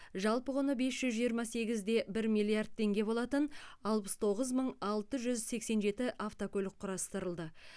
жалпы құны бес жүз жиырма сегіз де бір миллиард теңге болатын алпыс тоғыз мың алты жүз сексен жеті автокөлік құрастырылды